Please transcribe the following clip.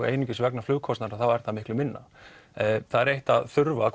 einungis vegna flugkostnaðar þá er það miklu minna það er eitt að þurfa